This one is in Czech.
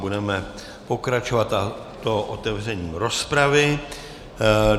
Budeme pokračovat, a to otevřením rozpravy.